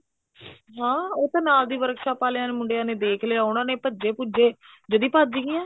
ਹਾਂ ਉਹ ਤਾਂ ਨਾਲ ਦੀ workshop ਆਲਿਆਂ ਨੇ ਮੁੰਡਿਆਂ ਨੇ ਦੇਖ ਲਿਆ ਉਹਨਾ ਨੇ ਭੱਜੇ ਭੁੱਜੇ ਜੜੀ ਭੱਜ ਗਈਆਂ